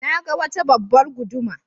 Na ga wata babbar guduma.